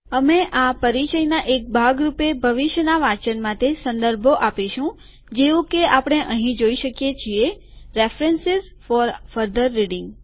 અમે આ પરિચયના એક ભાગ રૂપે ભવિષ્યના વાચન માટે સંદર્ભો આપીશું જેવું કે આપણે અહીં જોઈ શકીએ છીએ રેફરેન્સિઝ ફોર ફર્ધર રીડીંગ